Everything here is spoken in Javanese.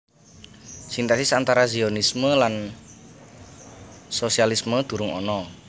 Sintèsis antara Zionisme lan sosialisme durung ana